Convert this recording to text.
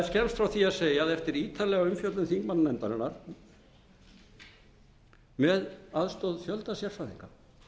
skemmst frá því að segja að eftir ítarlega umfjöllun þingmannanefndarinnar með aðstoð fjölda sérfræðinga